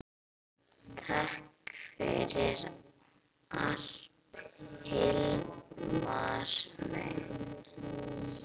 Takk fyrir allt Hilmar minn.